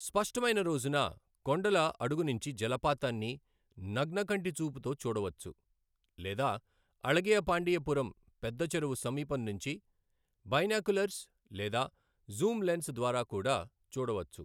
స్పష్టమైన రోజున, కొండల అడుగునించి జలపాతాన్ని నగ్న కంటి చూపుతో చూడవచ్చు, లేదా అళగియపాండియపురం పెద్ద చెరువు సమీపం నించి బైనాక్యూలర్స్ లేదా జూమ్ లెన్స్ ద్వారా కూడా చూడవచ్చు.